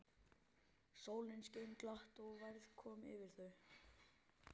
Sólin skein glatt og værð kom yfir þau.